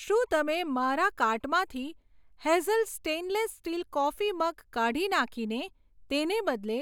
શું તમે મારા કાર્ટમાંથી Hazel stainless steel coffee mug કાઢી નાંખીને તેને બદલે